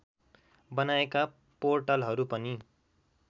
बनाएका पोर्टलहरू पनि